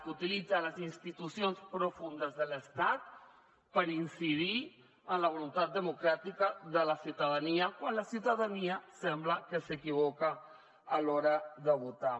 que utilitza de deep state incidir en la voluntat democràtica de la ciutadania quan la ciutadania sembla que s’equivoca a l’hora de votar